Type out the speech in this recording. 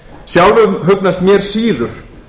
sjálfum hugnast mér síður